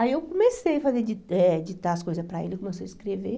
Aí eu comecei a fazer di eh ditar as coisas para ele, começou a escrever.